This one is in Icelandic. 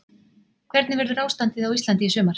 Hvernig verður ástandið á Íslandi í sumar?